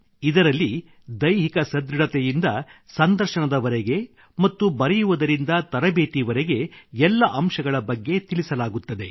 ಇದರಲ್ಲಿ ದೈಹಿಕ ಸದೃಢತೆಯಿಂದ ಸಂದರ್ಶನದವರೆಗೆ ಮತ್ತು ಬರೆಯುವುದರಿಂದ ತರಬೇತಿವರೆಗೆ ಎಲ್ಲ ಅಂಶಗಳ ಬಗ್ಗೆ ತಿಳಿಸಲಾಗುತ್ತದೆ